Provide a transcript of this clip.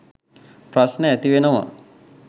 ප්‍රශ්න ඇතිවෙනවා.